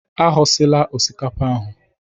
Aghọsila osikapa ahụ!